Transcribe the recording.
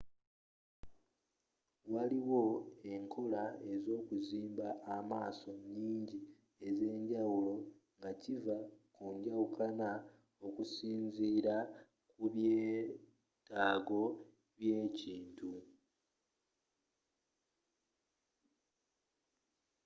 waliwo enkola ezokuzimba amaaso nyingi ez'enjawulo nga kiva ku njawukana okusinzira ku byetaago bye ekintu